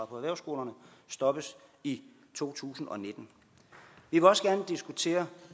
på erhvervsskolerne stoppes i to tusind og nitten vi vil også gerne diskutere